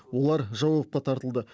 олар жауапқа тартылды